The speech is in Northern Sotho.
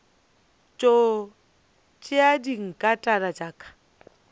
tšo tšea dinkatana tša ka